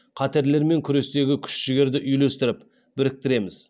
қатерлермен күрестегі күш жігерді үйлестіріп біріктіреміз